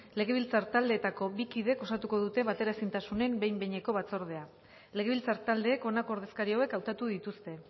legebiltzar taldeetako bi kidek osatuko dute bateraezintasunen behin behineko batzordea legebiltzar taldeek honako ordezkari hauek hautatu dituzte